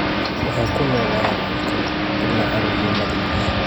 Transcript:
Waxay ku noolaayeen dhulkan ilaa carruurnimadii.